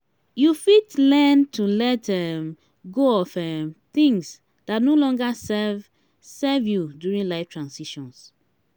you fit learn to let um go of um things dat no longer serve serve you during life transitions.